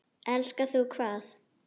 Elskar þú hvað?